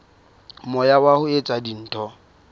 moya wa ho etsa dintho